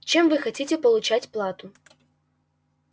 чем вы хотите получать плату